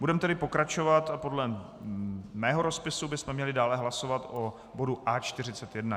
Budeme tedy pokračovat a podle mého rozpisu bychom měli dále hlasovat o bodu A41.